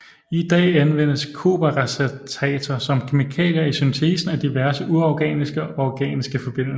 I dag anvendes kobberacetater som kemikalier i syntesen af diverse uorganiske og organiske forbindelser